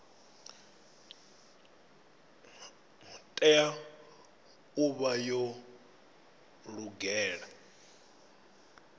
tea u vha yo lugela